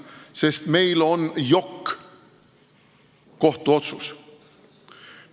See on selgusetu, sest meil on jokk-kohtuotsus.